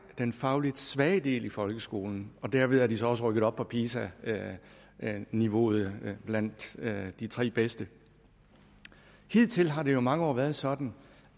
den faglig svage del i folkeskolen og derved er de så også rykket op på pisa niveauet blandt de tre bedste hidtil har det jo i mange år været sådan